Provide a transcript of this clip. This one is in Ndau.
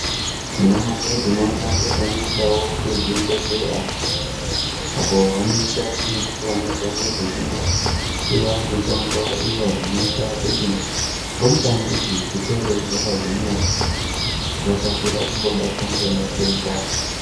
Anamai tinoonawo kuti vanoenda kuzvibhedhlera apo vanoenda nerumbwana dzavo dzechinopiwa mitombo iyo inoita kuti rumbwana idzi dzikure dzakagwinya dzisakasira kungobatwa ngematenda.